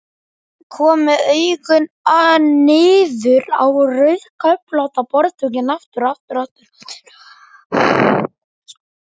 Kom með augun niður á rauðköflóttan borðdúkinn aftur.